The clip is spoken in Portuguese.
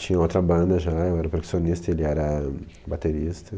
Tinha outra banda já, eu era percussionista e ele era baterista.